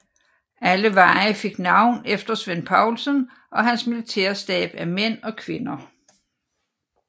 Alle veje fik navn efter Svend Poulsen og hans militære stab af mænd og kvinder